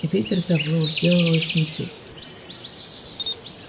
ветер завыл сделалась метель